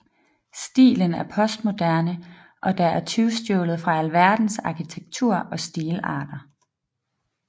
Stilen er postmoderne og der er tyvstjålet fra alverdens arkitektur og stilarter